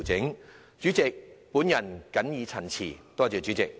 代理主席，本人謹此陳辭。